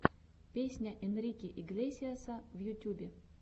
песня энрике иглесиаса в ютюбе